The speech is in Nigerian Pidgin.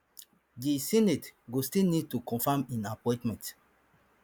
di senate go still need to confirm im appointment